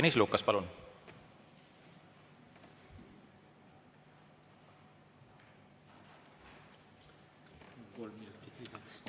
Tõnis Lukas, palun!